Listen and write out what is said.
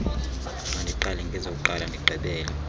mandiqale ngezokuqala ndigqibele